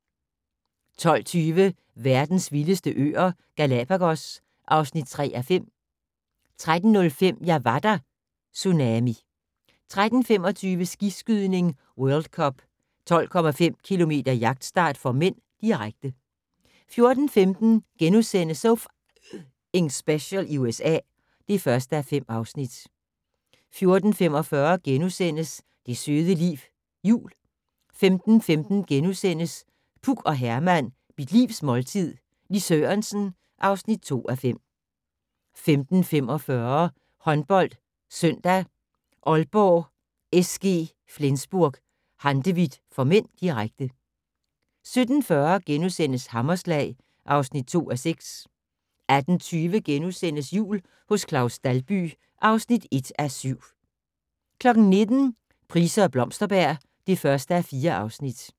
12:20: Verdens vildeste øer - Galapagos (3:5) 13:05: Jeg var der - Tsunami 13:25: Skiskydning: World Cup - 12,5 km jagtstart (m), direkte 14:15: So F***ing Special i USA (1:5)* 14:45: Det søde liv - jul (1:4)* 15:15: Puk og Herman - Mit Livs måltid - Lis Sørensen (2:5)* 15:45: HåndboldSøndag: Aalborg-SG Flensburg-Handewitt (m), direkte 17:40: Hammerslag (2:6)* 18:20: Jul hos Claus Dalby (1:7)* 19:00: Price og Blomsterberg (1:4)